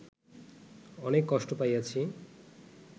অনেক কষ্ট পাইয়াছি